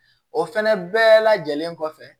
O fɛnɛ bɛɛ lajɛlen kɔfɛ